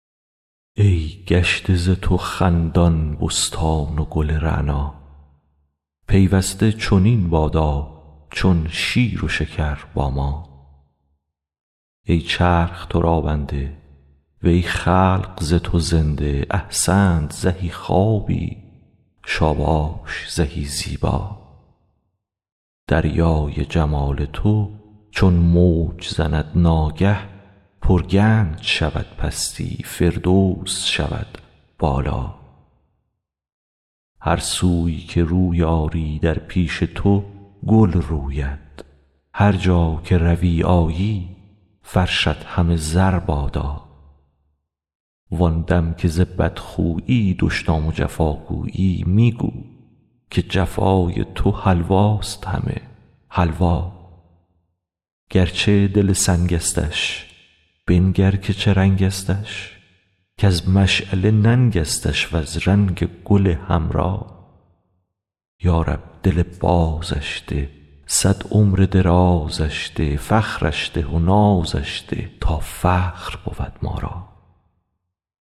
ای گشته ز تو خندان بستان و گل رعنا پیوسته چنین بادا چون شیر و شکر با ما ای چرخ تو را بنده وی خلق ز تو زنده احسنت زهی خوابی شاباش زهی زیبا دریای جمال تو چون موج زند ناگه پرگنج شود پستی فردوس شود بالا هر سوی که روی آری در پیش تو گل روید هر جا که روی آیی فرشت همه زر بادا وان دم که ز بدخویی دشنام و جفا گویی می گو که جفای تو حلواست همه حلوا گرچه دل سنگستش بنگر که چه رنگستش کز مشعله ننگستش وز رنگ گل حمرا یا رب دل بازش ده صد عمر درازش ده فخرش ده و نازش ده تا فخر بود ما را